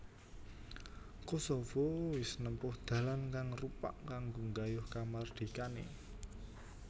Kosovo wis nempuh dalan kang rupak kanggo nggayuh kamardikané